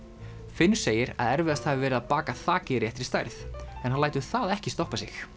finnur segir að erfiðast hafi verið að baka þakið í réttri stærð en hann lætur það ekki stoppa sig